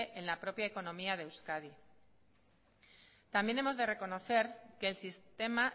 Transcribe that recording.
en la propia economía de euskadi también hemos de reconocer que el sistema